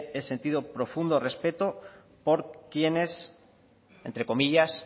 he sentido profundo respeto por quienes entre comillas